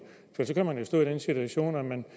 for så kan man at stå i den situation at man